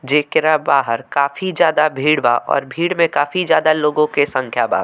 जेकरा बाहर काफी ज्यादा भीड़ बा और भीड़ में काफी ज्यादा लोगो के संख्या बा।